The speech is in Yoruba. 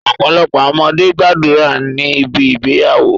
Ọpọlọpọ awọn ọmọde gbadura ni ibi igbeyawo